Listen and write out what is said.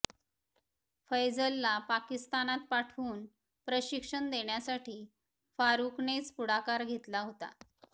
फैझलला पाकिस्तानात पाठवून प्रशिक्षण देण्यासाठी फारुकनेच पुढाकार घेतला होता